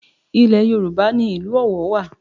Ilẹ̀ Yorùbá ni ìlú Ọ̀wọ̀ wà